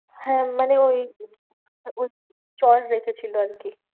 হ্যাঁ মানে ওই ওই চর রেখেছিলো আর কি।